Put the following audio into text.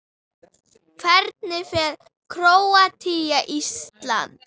Hvernig fer Króatía- Ísland?